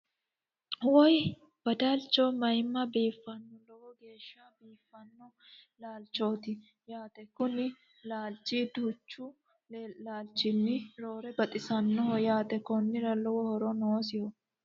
Woye badalcho mayima biifanno lowo geeshsha biifanno laalichooti yaate Kuni laalichi duuchu laalichinni roore baxisanoho yaate konnira lowo horo noosiho